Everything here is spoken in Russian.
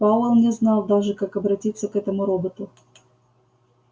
пауэлл не знал даже как обратиться к этому роботу